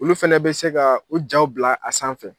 Olu fana bɛ se ka u jaw bila a sanfɛ.